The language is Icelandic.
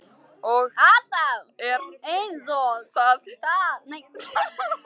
Og allt er einsog það var áður.